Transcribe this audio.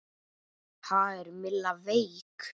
Ha, er Milla veik?